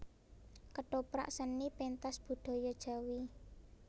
Kethoprak Seni pentas budaya Jawi